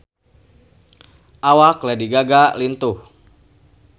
Awak Lady Gaga lintuh